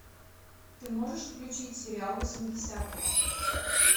ты можешь включить сериал восьмидесятые